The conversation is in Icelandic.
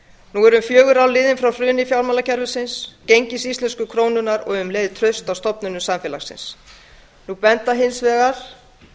nú eru um fjögur ár liðin frá hruni fjármálakerfisins gengis íslensku krónunnar og um leið trausts á stofnunum samfélagsins nú benda hins vegar